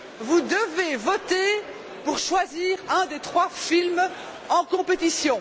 Vous devez voter pour choisir un des trois films en compétition.